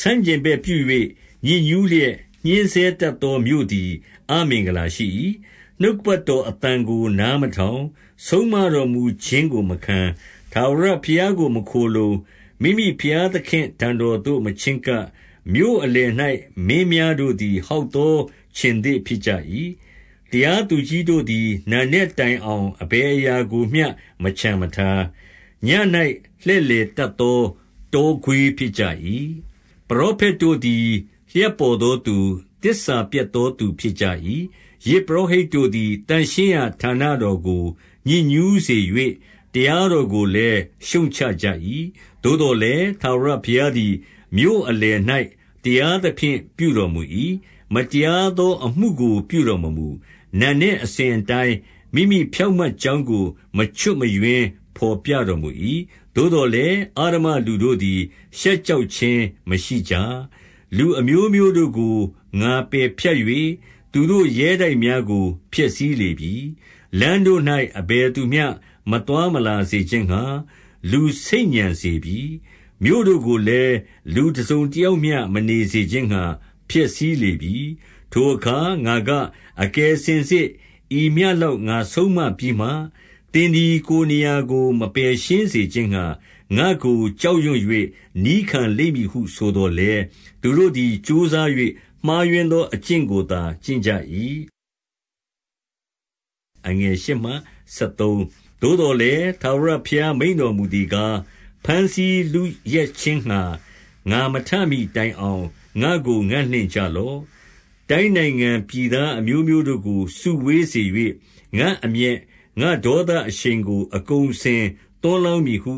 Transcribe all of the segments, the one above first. ဆန့်ကျင်ဘက်ပြု၍ ညစ်ညူးလျက် ညှဉ်းဆဲ တတ်သော မြို့သည် အမင်္ဂလာရှိ၏။ နှုတ်ကပတ်တော်အသံကို နားမထောင်၊ ဆုံးမ တော်မူခြင်းကိုမခံ၊ ထာဝရဘုရားကို မခိုလှုံ၊ မိမိ ဘုရား သခင့်ထံတော်သို့ မချဉ်းကပ်၊ မြို့အလယ်၌ မင်းများတို့သည် ဟောက်သော ခြင်္သေ့ဖြစ်ကြ၏။ တရားသူကြီးတို့သည် နံနက်တိုင်အောင် အဘယ်အရာကိုမျှမချန်မထား၊ ညဉ့်၌ လှည့်လည်တတ် သောတောခွေးဖြစ်ကြ၏။ ပရောဖက်တို့သည် လျှပ်ပေါ်သောသူ၊ သစ္စာ ပျက်သောသူဖြစ်ကြ၏။ ယဇ်ပုရောဟိတ်တို့သည် သန့် ရှင်းရာဌာနတော်ကို ညစ်ညူးစေ၍ တရားတော်ကိုလည်း ရှုတ်ချကြ၏။ သို့သော်လည်း၊ ထာဝရဘုရားသည် မြို့အလယ် ၌ တရားသဖြင့် ပြုတော်မူ၏။ မတရားသော အမှုကို ပြုတော်မမူ။ နံနက်အစဉ်အတိုင်း မိမိဖြောင့်မတ်ကြောင်း ကို မချွတ်မယွင်း ဘော်ပြတော်မူ၏။ သို့သော်လည်းဒ၊ အဓမ္မလူတို့သည် ရှက်ကြောက်ခြင်းမရှိကြ။ လူအမျိုးမျိုးတို့ကို ငါပယ်ဖြတ်၍ သူတို့ရဲတိုက် များကို ဖျက်ဆီးလေပြီ။ လမ်းတို့၌ အဘယ်သူမျှ မသွား မလာစေခြင်းငှါ လူဆိတ်ညံစေပြီ။ မြို့တို့ကိုလည်း လူတစုံ တယောက်မျှ မနေစေခြင်းငှါ ဖျက်ဆီးလေပြီ။ ထိုအခါ ငါက၊ အကယ်စင်စစ် ဤမျှလောက် ငါဆုံးမပြီးမှ သင်သည် ကိုယ်နေရာကို မပယ်ရှင်းစေခြင်း ငှါ၊ ငါ့ကို ကြောက်ရွံ့၍ နည်းခံလိမ့်မည်ဟု ဆိုသော်လည်း၊ သူတို့သည် ကြိုးစား၍ မှားယွင်းသော အကျင့်ကိုသာ ကျင့်ကြ၏။ သို့သော်လည်း၊ ထာဝရဘုရား မိန့်တော်မူသည် ကား၊ ဘမ်းဆီးလုယက်ခြင်းငှါ ငါမထမှီတိုင်အောင် ငါ့ကို ငံ့လင့်ကြလော့။ တိုင်းနိုင်ငံပြည်သားအမျိုးမျိုးတို့ကို စုဝေး စေ၍၊ ငါ့အမျက်၊ ငါ့ဒေါသအရှိန်ကို အကုန်အစင် သွန်း လောင်းမည်ဟု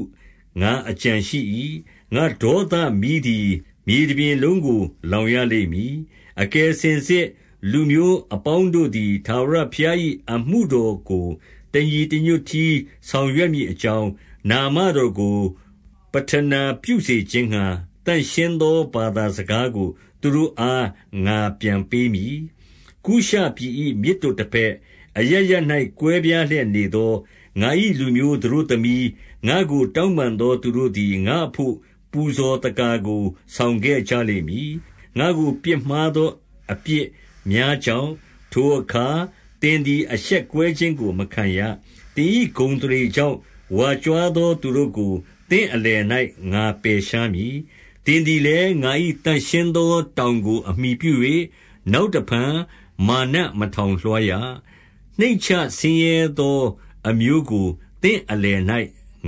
ငါအကြံရှိ၏။ ငါ့ဒေါသမီးသည် မြေ တပြင်လုံးကို လောင်ရလိမ့်မည်။ အကယ်စင်စစ် လူမျိုးအပေါင်းတို့သည် ထာဝရ ဘုရား၏အမှုတော်ကို တညီတညွတ်တည်း ဆောင်ရွက် မည်အကြောင်း၊ နာမတော်ကို ပဌနာပြုစေခြင်းငှါ သန့် ရှင်းသော ဘာသာစကားကို သူတို့အား ငါပြန်ပေးမည်။ ကုရှပြည်၏မြစ်တို့တဘက်၊ အရပ်ရပ်၌ ကွဲပြား လျက်နေသော ငါ၏လူမျိုးသတို့သမီး၊ ငါ့ကို တောင်းပန် သော သူတို့သည် ငါ့အဘို့ ပူဇော်သက္ကာကို ဆောင်ခဲ့ကြ လိမ့်မည်။ ငါ့ကို ပြစ်မှားသောအပြစ်များကြောင့် ထိုအခါ သင်သည် အရှက်ကွဲခြင်းကို မခံရ။ သင်၏ဂုဏ်အသရေ ကြောင့် ဝါကြွားသော သူတို့ကို သင့်အလယ်၌ ငါပယ်ရှား မည်။ သင်သည်လည်း ငါ၏သန့်ရှင်းသော တောင်ကို အမှီပြု၍ နောက်တဖန်မာနမထောင်လွှားရ။ နှိမ့်ချဆင်းရဲသော အမျိုးကို သင့်အလယ်၌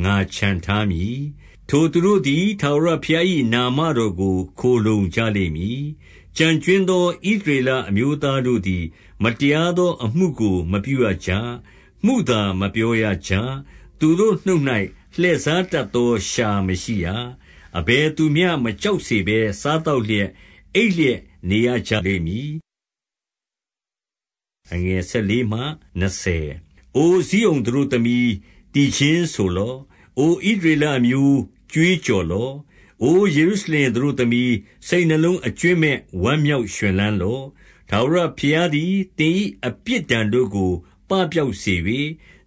ငါချန်ထားမည်။ ထိုသူတို့သည် ထာဝရဘုရား၏ နာမ တော်ကို ခိုလှုံကြလိမ့်မည်။ ကျန်ကြွင်းသော ဣသရေလအမျိုးသားတို့သည် မတရားသောအမှုကို မပြုရကြ။ မုသာမပြောရကြ။ သူတို့ နှုတ်၌ လှည့်စားတတ်သော လျှာမရှိရ။ အဘယ်သူမျှ မကြောက်စေဘဲ စားသောက်လျက်၊ အိပ်လျက်နေရကြ လိမ့်မည်။ အိုဇိအုန်သတို့သမီး၊ သီချင်းဆိုလော့။ အို ဣသ ရေလအမျိုး၊ ကြွေးကြော်လော့။ အိုယေရုရှလင်သတို့သမီး၊ စိတ်နှလုံးအကြွင်းမဲ့ ဝမ်းမြောက်ရွှင်လန်းလော့။ ထာဝရဘုရားသည် သင်၏အပြစ်ဒဏ်တို့ကို ပပျောက်စေ၍၊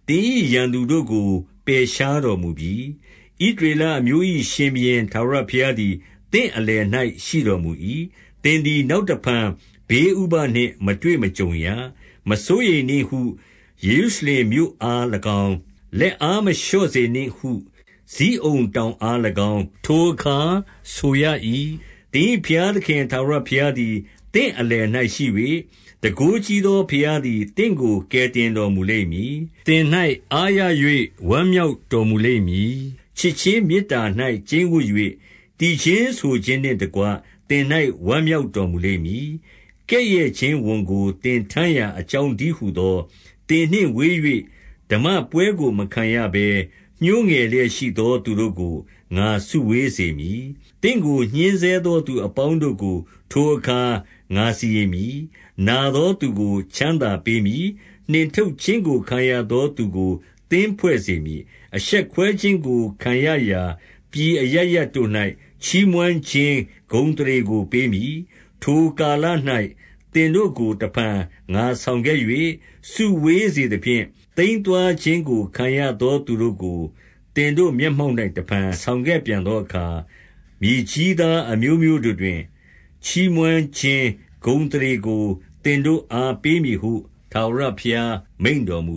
သင်၏ရန်သူတို့ကို ပယ်ရှားတော်မူပြီ။ ဣသရေလအမျိုး၏ ရှင်ဘုရင်ထာဝရဘုရားသည် သင့် အလယ်၌ ရှိတော်မူ၏။ သင်သည် နောက်တဖန်ဘေး ဥပဒ်နှင့်မတွေ့မကြုံရ။ မစိုးရိမ်ပါနှင့်ဟု၊ ယေရုရှလင်မြို့အား၎င်း၊ လက် အား မလျှော့စေနှင့်ဟု၊ ဇိအုန်တောင်အား၎င်း ထိုအခါ ဆိုရ၏။ သင်၏ဘုရားသခင်ထာဝရဘုရားသည် သင့် အလယ်၌ရှိ၍၊ တန်ခိုးကြီးသောဘုရားသည် သင့်ကို ကယ်တင်တော်မူလိမ့်မည်။ သင်၌ အားရ၍ ဝမ်းမြောက် တော်မူလိမ့်မည်။ ချစ်ခြင်းမေတ္တာ၌ ကျိန်းဝပ်၍၊ သီချင်း ဆိုခြင်းနှင့်တကွ သင်၌ ဝမ်းမြောက်တော်မူလိမ့်မည်။ ကဲ့ရဲ့ခြင်းဝန်ကို သင်ထမ်းရာအကြောင်းတည်း ဟူသော၊ သင်နှင့်ဝေး၍ ဓမ္မပွဲကို မခံရဘဲ ညှိုးငယ်လျက် ရှိသော သူတို့ကို ငါစုဝေးစေမည်။ သင့်ကို ညှဉ်းဆဲသောသူအပေါင်းတို့ကို ထိုအခါ ငါစီရင်မည်။ နာသောသူကို ချမ်းသာပေးမည်။ နှင်ထုတ် ခြင်းကိုခံရသောသူကို သင်းဖွဲ့စေမည်။ အရှက်ကွဲခြင်းကို ခံရရာပြည်အရပ်ရပ်တို့၌ ချီးမွမ်းခြင်းဂုဏ်အသရေကို ပေးမည်။ ထိုကာလ၌ သင်တို့ကို တဖန် ငါဆောင်ခဲ့၍ စုဝေးစေသဖြင့်၊ သိမ်းသွားခြင်းကို ခံရသောသူတို့ကို သင် တို့မျက်မှောက်၌ တဖန် ဆောင်ခဲ့ပြန်သောအခါ၊ မြေကြီးသားအမျိုးမျိုးတို့တွင် ချီးမွမ်းခြင်းဂုဏ်အသရေကို သင်တို့အား ပေးမည်ဟု၊ ထာဝရဘုရား မိန့်တော်မူ